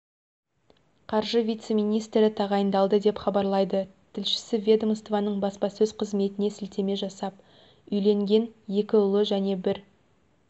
қаржы вице-министрі тағайындалды деп хабарлайды тілшісі ведомствоның баспасөз қызметіне сілтеме жасап үйленген екі ұлы және бір